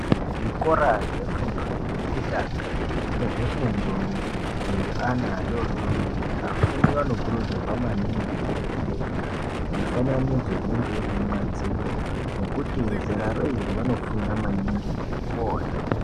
Zvikora zvefundo yekutanga nezvefundo yeana adodori vafundi vanokuridzirwa maningi kuerenga mufananidzo inenge iri kumadziro nekuti zeraro iri vanofunda maningi ngekuona .